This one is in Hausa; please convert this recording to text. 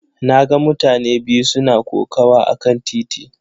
Na ga mutane biyu suna kokawa akan titi.